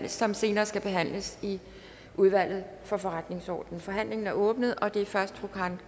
som senere skal behandles i udvalget for forretningsordenen forhandlingen er åbnet og det er først fru karen